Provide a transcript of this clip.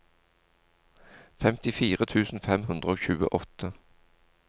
femtifire tusen fem hundre og tjueåtte